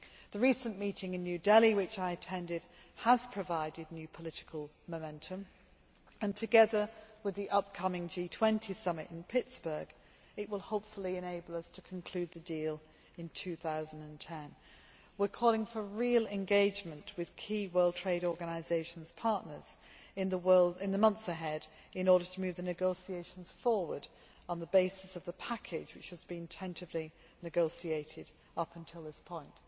The recent meeting in New Delhi which I attended has provided new political momentum and, together with the upcoming G20 Summit in Pittsburgh, it will hopefully enable us to conclude the deal in 2010. We are calling for real engagement with key World Trade Organisation partners in the months ahead in order to move the negotiations forward on the basis of the package which has been tentatively negotiated up until this point.